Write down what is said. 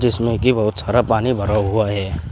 जिसमें कि बहुत सारा पानी भरा हुआ है।